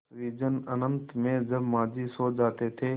उस विजन अनंत में जब माँझी सो जाते थे